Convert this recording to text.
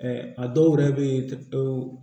a dɔw yɛrɛ bɛ ye o